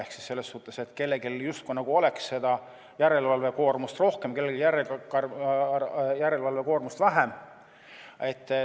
Ehk siis selles suhtes, et kellelgi justkui oleks järelevalvekoormust rohkem, kellelgi vähem.